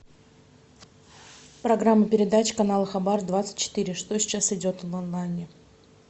программа передач канал хабар двадцать четыре что сейчас идет в онлайне